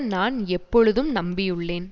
நான் எப்பொழுதும் நம்பியுள்ளேன்